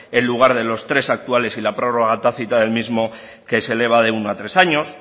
en lugar de los tres actuales y la prórroga tácita del mismo que se eleva de uno a tres años